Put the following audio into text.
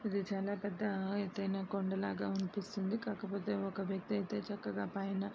ఇది చాలా పెద్ద ఎతైన కొండ లాగ అనిపిస్తుంది. కాకపోతే ఒక వ్యక్తి అయితే చక్కగా పైన --